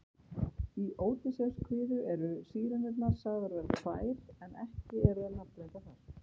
Í Ódysseifskviðu eru Sírenurnar sagðar vera tvær en ekki eru þær nafngreindar þar.